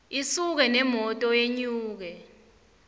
isuke nemoto yenyuke